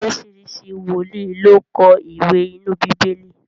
oríṣiríṣi wòlíì ló kọ iwe inú Bibeli.